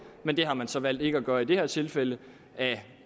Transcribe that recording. men det har man så valgt ikke at gøre i det her tilfælde af